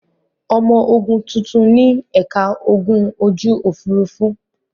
Ọmọ ogun tuntun ní ẹ̀ka ogun ojú-òfurufú.